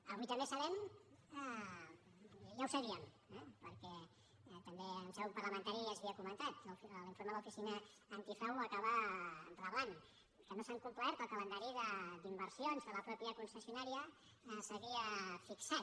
avui també sabem i ja ho sabíem perquè també en seu parlamentària ja s’havia comentat i l’informe de l’oficina antifrau ho acaba reblant que no s’ha complert el calendari d’inversions que la mateixa concessionària s’havia fixat